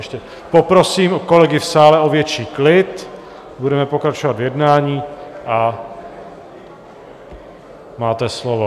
Ještě poprosím kolegy v sále o větší klid, budeme pokračovat v jednání, a máte slovo.